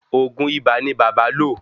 Òògùn ibà ní bàbá lo